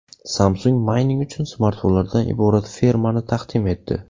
Samsung mayning uchun smartfonlardan iborat fermani taqdim etdi.